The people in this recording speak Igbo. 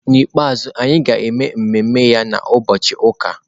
N'ikpeazụ, anyị ga-eme ememe ya na Ubọchi uka.